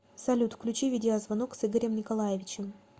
салют включи видеозвонок с игорем николаевичем